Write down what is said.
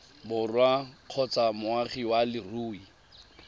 borwa kgotsa moagi wa leruri